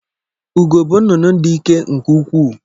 Ugo bụ nnụnụ dị ike nke ukwuu